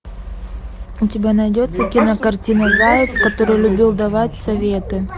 у тебя найдется кинокартина заяц который любил давать советы